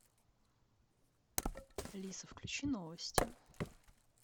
алиса включи новости